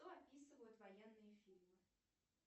что описывают военные фильмы